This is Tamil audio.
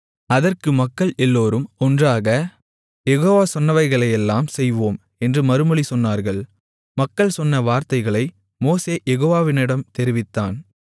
அதற்கு மக்கள் எல்லோரும் ஒன்றாக யெகோவா சொன்னவைகளையெல்லாம் செய்வோம் என்று மறுமொழி சொன்னார்கள் மக்கள் சொன்ன வார்த்தைகளை மோசே யெகோவாவிடம் தெரிவித்தான்